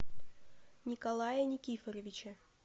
николая никифоровича